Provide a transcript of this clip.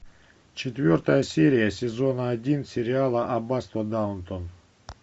четвертая серия сезона один сериала аббатство даунтон